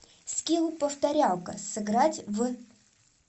скилл повторялка сыграть в